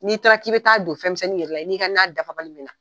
N'i taara k'i bɛ t'a don fɛnmisɛnni yɛrɛ la, i n'i ka na dafabali bi na.